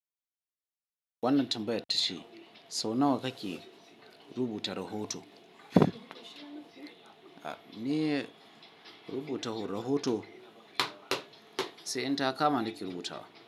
Wannan tambaya tashi saunawa kake rubuta rahoto? Niye rubuta rahoto? Sai in ta kama nake rubutawa.